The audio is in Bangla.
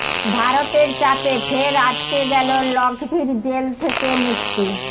ভারতের চাপে ফের আটকে গেল লখভির জেল থেকে মুক্তি